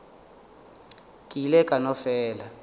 ke ile ka no fela